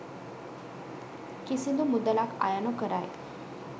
කිසිදු මුදලක් අය නොකරයි